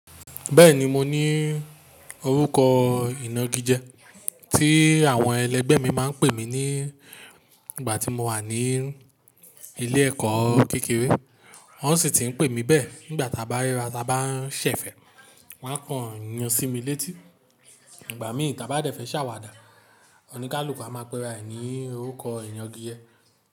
Bẹ́ẹ̀ni mo ní orúkọ ìnagijẹ, tí àwọn ẹlẹgbẹ́ mi máa ń pè mí ní ìgbà tí mo wà ní ilé ẹ̀kọ́ kékeré. Wọ́n sì ti ń pè mí bẹ́ẹ̀ nígbà ta bá ríra ta bá ń ṣẹ̀fẹ̀, wọ́n á kan ńyan sí mi létí. Ìgbà mí ìká bá dẹ̀ fẹ́ ṣàwàdà, oníkálukú a máa péra ẹ ní orúkọ inagije.